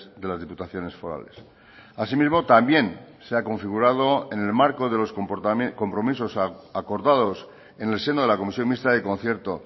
de las diputaciones forales asimismo también se ha configurado en el marco de los compromisos acordados en el seno de la comisión mixta de concierto